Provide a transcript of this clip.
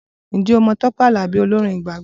Ǹjẹ́ o mọ Tọpẹ Alabi olórin ìgbàgbọ?